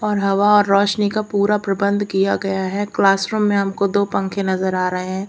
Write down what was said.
और हवा रोशनी का पूरा प्रबंध किया गया है क्लासरूम में हमको दो पंखे नजर आ रहे हैं।